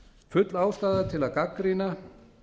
full ástæða er til að gagnrýna